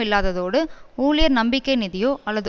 இல்லாததோடு ஊழியர் நம்பிக்கை நிதியோ அல்லது